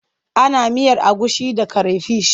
Ana miyar agushi da creyfish.